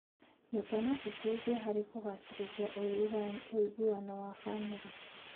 Nyũmba no citeithie harĩ kũgacĩrithia ũiguano wa bamĩrĩ.